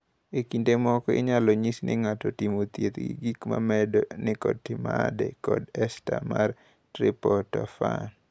E kinde moko, inyalo nyis ni ng’ato otim thieth gi gik ma medo nikotinamide kod ester mar triptofan.